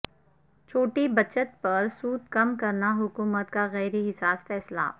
چھوٹی بچت پر سود کم کرنا حکومت کا غیرحساس فیصلہ